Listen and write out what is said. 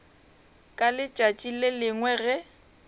ka letšatši le lengwe ge